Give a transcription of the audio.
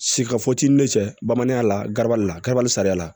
Sika fɔ t'i ni cɛ bamananya la garibu la kaba sariya la